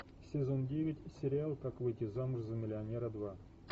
сезон девять сериал как выйти замуж за миллионера два